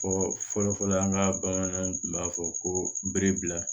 Fɔ fɔlɔfɔlɔ an ka bamananw tun b'a fɔ ko bere bila